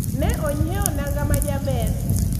ne onyiewo nanga majaber